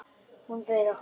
Hún bauð okkur.